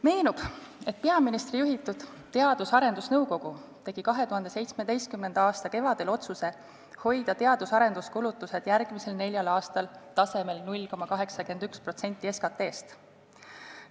Meenub, et peaministri juhitud Teadus- ja Arendusnõukogu tegi 2017. aasta kevadel otsuse hoida teadus- ja arenduskulutused järgmisel neljal aastal tasemel 0,81% SKT-st.